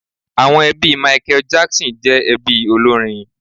Àwọn ẹbí Michael Jackson jẹ́ ẹbí olórin.